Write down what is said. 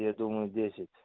я думаю десять